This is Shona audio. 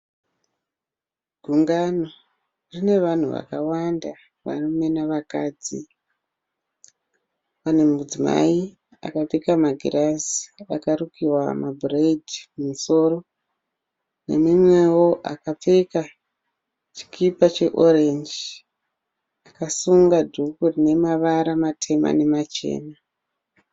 Gungano rine vanhu vakawanda varume nevakadzi. Pane mudzimai akapfeka magirazi akarukiwa madhiredzi mumusoro. Neumwewo akapfeka chikipa cheorenji akasunga dhuku rinemavara matema nemachena.